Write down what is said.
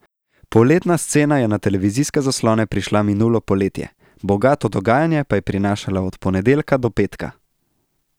Poletna scena je na televizijske zaslone prišla minulo poletje, bogato dogajanje pa je prinašala od ponedeljka do petka.